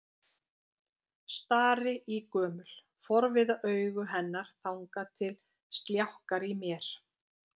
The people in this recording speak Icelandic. Stari í gömul, forviða augu hennar þangað til sljákkar í mér.